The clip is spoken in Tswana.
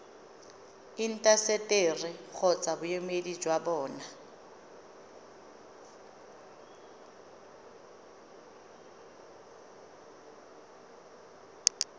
intaseteri kgotsa boemedi jwa bona